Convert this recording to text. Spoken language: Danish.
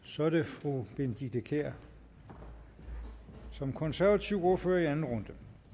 så er det fru benedikte kiær som konservativ ordfører i anden runde